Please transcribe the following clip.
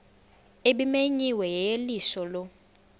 ebimenyiwe yeyeliso lo